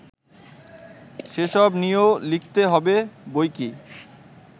সেসব নিয়েও লিখতে হবে বৈকি